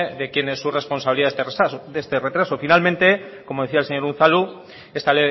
de quién es responsabilidad este retraso finalmente como decía el señor unzalu esta